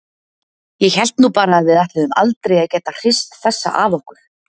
Ég hélt nú bara að við ætluðum aldrei að geta hrist þessa af okkur.